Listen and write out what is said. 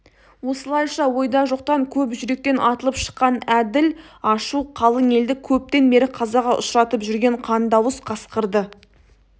осылайша ойда жоқтан көп жүректен атылып шыққан әділ ашу қалың елді көптен бері қазаға ұшыратып жүрген қандыауыз қасқырды